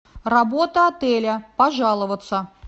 работа отеля пожаловаться